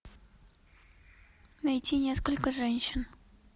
найти несколько женщин